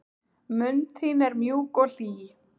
Mund þín er mjúk og hlý.